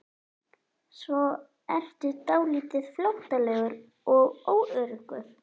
Svo ertu dálítið flóttalegur og óöruggur.